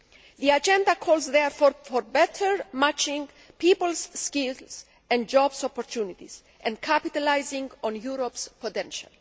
The agenda calls, therefore, for better matching of people's skills and job opportunities and capitalising on Europe's potential.